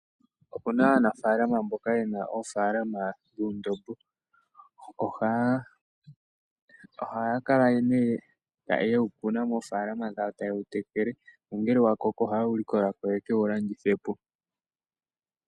Opuna aanafalama mboka yena oofalama dhuundombo. Ohaya kala ne yewu kuna moofalama dhawo, ta yewu tekele, nongele wa koko, ohaye wu likolako ye kewu landithepo.